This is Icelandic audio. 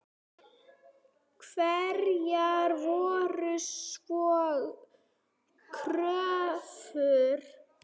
Hverjar voru svo kröfur þeirra?